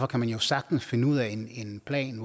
kan jo sagtens finde ud af en plan